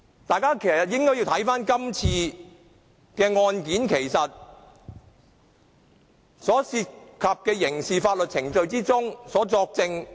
大家應該看看今次的案件所涉及的，在刑事法律程序之中作證。